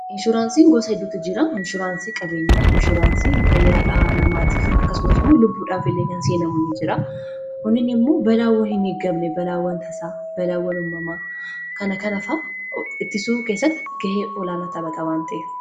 Inshuraansii gosa hedduutu jira. Faayidaan isaa madaalamuu hin dandeenye fi bakka bu’iinsa hin qabne qaba. Jireenya guyyaa guyyaa keessatti ta’ee, karoora yeroo dheeraa milkeessuu keessatti gahee olaanaa taphata. Faayidaan isaa kallattii tokko qofaan osoo hin taane, karaalee garaa garaatiin ibsamuu danda'a.